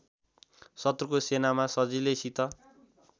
शत्रुको सेनामा सजिलैसित